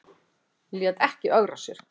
Lét ekki ögra sér